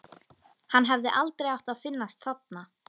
Hann hefði aldrei átt að finnast þarna.